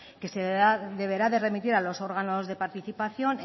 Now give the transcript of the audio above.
que se deberá de remitir a los órganos de participación